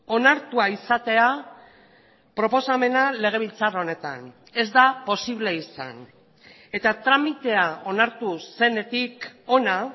onartua izatea proposamena legebiltzar honetan ez da posible izan eta tramitea onartu zenetik hona